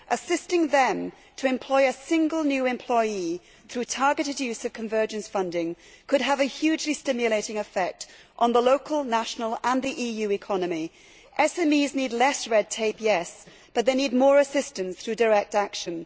Assisting them to employ a single new employee through a targeted use of convergence funding could have a hugely stimulating effect on the local, national and EU economy. SMEs need less red tape, yes, but they need more assistance through direct action.